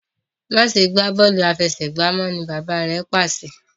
ma ṣe gbà Bọ́ọ̀lù àfẹsẹ̀gbá mọ! ní bàbá rẹ pàṣẹ.